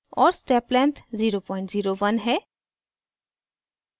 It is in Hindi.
और स्टेप लेंथ 0 01 है